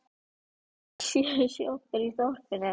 Það eru sjö sjoppur í þorpinu!